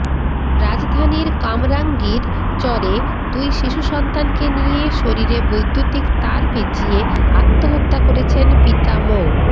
রাজধানীর কামরাঙ্গীর চরে দুই শিশু সন্তানকে নিয়ে শরীরে বৈদ্যুতিক তার পেঁচিয়ে আত্মহত্যা করেছেন পিতা মো